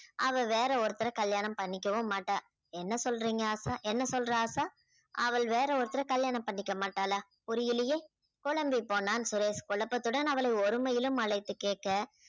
அவ வேற ஒருத்தரை கல்யாணம் பண்ணிக்கவும் மாட்டா என்ன சொல்றீங்க ஆஷா என்ன சொல்றா ஆஷா அவள் வேற ஒருத்தரை கல்யாணம் பண்ணிக்க மாட்டாளா புரியலையே குழம்பிப் போனான் சுரேஷ் குழப்பத்துடன் அவளை ஒருமையிலும் அழைத்துக் கேட்க